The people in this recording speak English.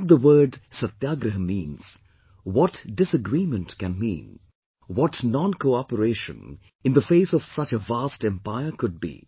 What the word, 'Satyagraha' means, what disagreement can mean, what NonCooperation in the face of such a vast Empire could be